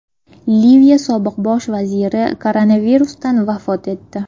Liviya sobiq bosh vaziri koronavirusdan vafot etdi.